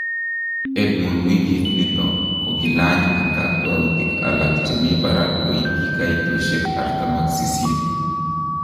Edmund wikit nito kokilany en kakwautik alak chemi barak koityi kaitoshek 48.